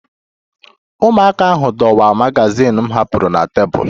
Ụmụaka ahụ dọwaa magazin m hapụrụ na tebụl